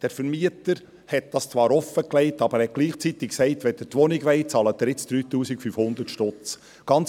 Der Vermieter hatte dies zwar offengelegt, sagte aber gleichzeitig, wenn sie die Wohnung wollten, zahlten sie neu 3500 Franken.